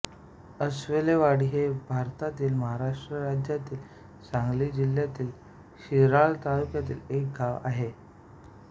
अस्वलेवाडी हे भारतातील महाराष्ट्र राज्यातील सांगली जिल्ह्यातील शिराळा तालुक्यातील एक गाव आहे